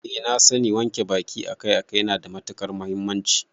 Eh na sani wanke baki akai-akai yana da matukar muhimmanci